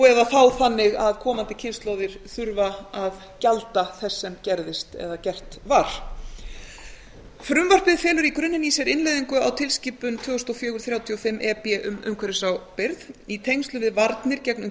eða þá þannig að komandi kynslóðir þurfa að gjalda þess sem gerðist eða gert var frumvarpið felur í grunninn í sér innleiðingu á tilskipun tvö þúsund og fjögur þrjátíu og fimm e b um umhverfisábyrgð í tengslum við varnir